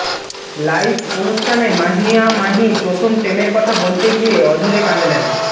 live অনুষ্ঠানে মাহিয়া মাহি প্রথম প্রেমের কথা বলতে গিয়ে অঝোরে কাঁদলেন